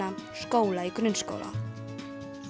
í grunnskóla